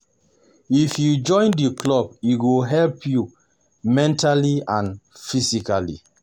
If you join the club e go help you mentally and physically